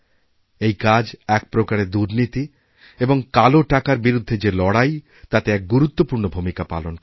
এই কাজ এক প্রকারে দুর্নীতিএবং কালো টাকার বিরুদ্ধে যে লড়াই তাতে এক গুরুত্বপূর্ণ ভূমিকা পালন করে